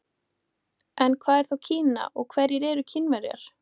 En hvað er þá Kína og hverjir eru Kínverjar?